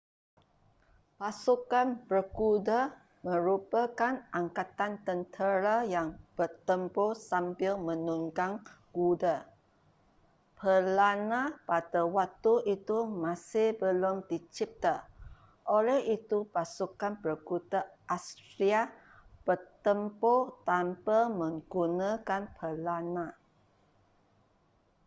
pasukan berkuda merupakan angkatan tentera yang bertempur sambil menunggang kuda pelana pada waktu itu masih belum dicipta oleh itu pasukan berkuda assyria bertempur tanpa menggunakan pelana